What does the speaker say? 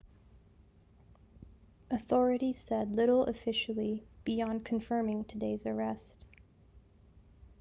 authorities said little officially beyond confirming today's arrest